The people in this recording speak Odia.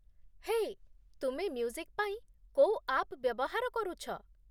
ହେ, ତୁମେ ମ୍ୟୁଜିକ୍ ପାଇଁ କୋଉ ଆପ୍ ବ୍ୟବହାର କରୁଛ?